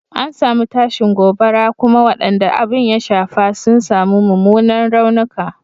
An samu tashin gobara kuma wadanda abin ya shafa sun samu mumunan raunuka.